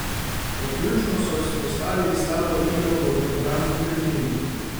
Kot ključno so izpostavili slabo igro v obrambni tretjini.